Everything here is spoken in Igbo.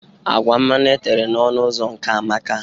Agwa mmanụ etere na ọnụ ụzọ nke a amaka.